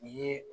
I ye